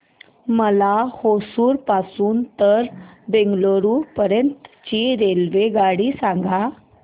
मला होसुर पासून तर बंगळुरू पर्यंत ची रेल्वेगाडी सांगा